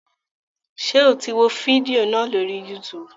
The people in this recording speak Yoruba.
Ṣe o tí wò fídíò náà lórí YouTube